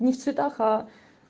не в цветах а